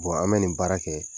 Wa an bɛ nin baara kɛ.